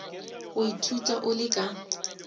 go ithuta o le ka